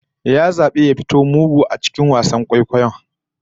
Ya zabi ya fito a matsayin mugu a cikin wasan kwaikwayon